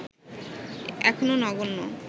এখনো নগণ্য